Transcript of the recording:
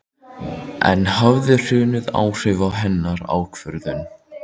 En hafði hrunið áhrif á hennar ákvörðun?